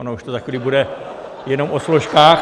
Ono to už za chvíli bude jenom o složkách.